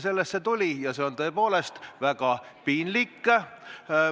Sellest see tuli ja see oli tõepoolest väga piinlik.